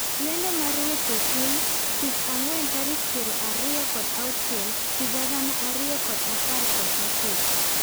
Lendo mar weche piny Tich ang'wen tarik piero ariyo kod auchiel higa agana ariyo kod apar kod ochiko.